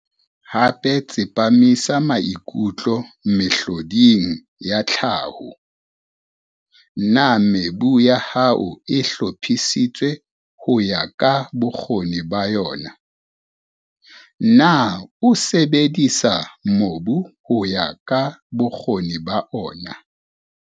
Hape tsepamisa maikutlo mehloding ya tlhaho. Na mebu ya hao e hlophisitswe ho ya ka bokgoni ba yona, na o sebedisa mobu ho ya ka bokgoni ba ona?